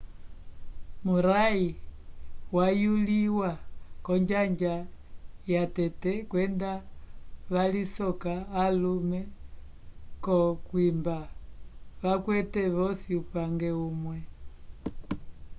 murray wayuliwa k'onjanja yatete kwenda valisoka alume k'okwimba vakwete vosi upange umwe